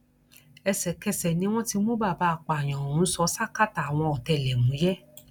ẹsẹkẹsẹ ni wọn ti mú bàbá apààyàn ọhún sọ ṣákátá àwọn ọtẹlẹmúyẹ